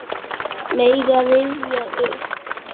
Mega rifja upp.